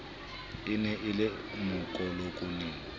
e ne e le mokolonele